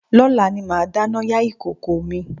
Lọ́la ni màá dáná yá ìkòkò mi